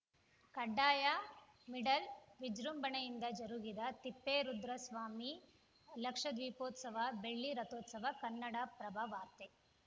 ಕಡ್ಡಾಯಮಿಡಲ್‌ ವಿಜೃಂಭಣೆಯಿಂದ ಜರುಗಿದ ತಿಪ್ಪೇರುದ್ರಸ್ವಾಮಿ ಲಕ್ಷದೀಪೋತ್ಸವ ಬೆಳ್ಳಿ ರಥೋತ್ಸವ ಕನ್ನಡಪ್ರಭವಾರ್ತೆ